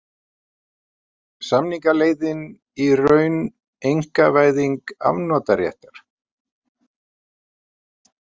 Samningaleiðin í raun einkavæðing afnotaréttar